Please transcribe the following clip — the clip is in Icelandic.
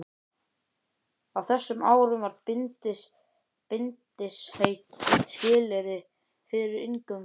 Á þessum árum var bindindisheit skilyrði fyrir inngöngu.